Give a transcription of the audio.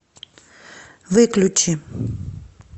выключи